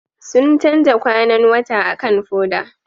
Sun canza kwanan wata akan foda